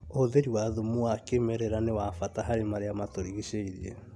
ũhũthĩri wa thumu wa kĩmerera nĩ wa bata harĩ marĩa matũrigicĩirie